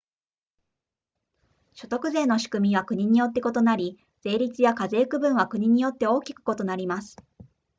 所得税の仕組みは国によって異なり税率や課税区分は国によって大きく異なります